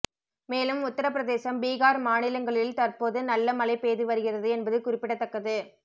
மேலும் உத்தரபிரதேசம் பீகார் மாநிலங்களில் தற்போது நல்ல மழை பெய்து வருகிறது என்பது குறிப்பிடத்தக்கது